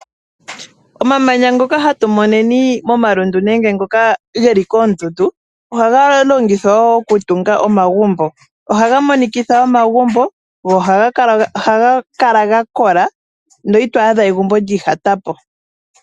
Omamanya ngoka hatu moneni momalundu nenge ngoka ge li koondundu ohaga longithwa woo okutunga omagumbo. Ohaga monikitha omagumbo, go ohaga kala gakola, na ito adha egumbo lyiihatapo.